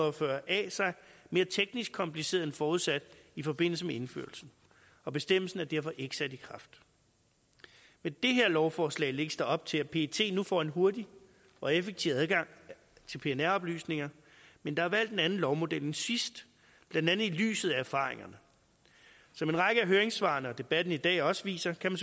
og fyrre a sig mere teknisk kompliceret end forudsat i forbindelse med indførelsen og bestemmelsen er derfor ikke sat i kraft med det her lovforslag lægges der op til at pet nu får en hurtig og effektiv adgang til pnr oplysninger men der er valgt en anden lovmodel end sidst blandt andet i lyset af erfaringerne som en række af høringssvarene og debatten i dag også viser kan